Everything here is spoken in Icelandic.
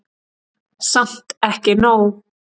Samt ekki nóg.